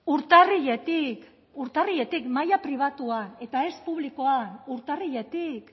urtarriletik urtarriletik maila pribatua eta ez publikoan urtarriletik